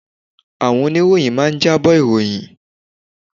Àwọn Oníròyìn máa ń jábọ̀ ìròyìn